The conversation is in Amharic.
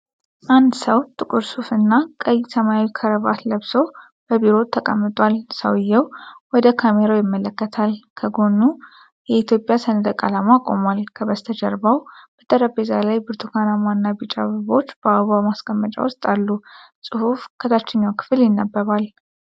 አንድ ሰው ጥቁር ሱፍ እና ቀይ ሰማያዊ ክራቫት ለብሶ በቢሮው ተቀምጧል። ሰውየው ወደ ካሜራው ይመለከታል። ከጎኑ የኢትዮጵያ ሰንደቅ ዓላማ ቆሟል። ከበስተጀርባ በጠረጴዛው ላይ ብርቱካናማ እና ቢጫ አበባዎች በአበባ ማስቀመጫ ውስጥ አሉ። ጽሑፍ ከታችኛው ክፍል ይነበባል።